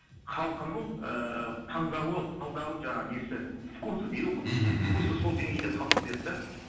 халқының ыыы таңдауы талдауы жаңағы несі вкусы дейді ғой мхм мхм вкусы сол деңгейде қалып кетеді де